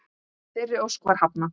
Þeirri ósk var hafnað.